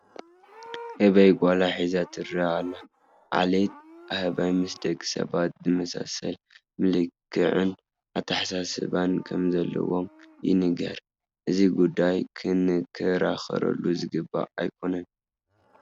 ህበይ ጓላ ሓዚላ ትርአ ኣለ፡፡ ዓሌት ኣህባይ ምስ ደቂ ሰባት ዝመሳሰል መልክዕን ኣተሓሳስባን ከምዘለዎም ይንገር፡፡ እዚ ጉዳይ ክንከራኸረሉ ዝግባእ ኣይኮነን፡፡